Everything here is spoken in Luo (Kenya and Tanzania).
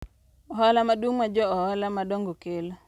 Ohala maduong' ma jo ohala madongo kelo.